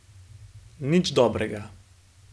Nič dobrega.